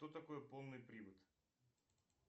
что такое полный привод